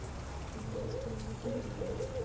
ਬਸ ਠੀਕ ਆ ਕੀ ਕਰੀ ਜਾਨੈ?